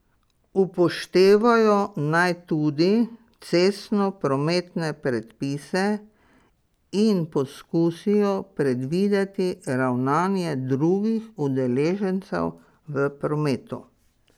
Upoštevajo naj tudi cestno prometne predpise in poskusijo predvideti ravnanje drugih udeležencev v prometu.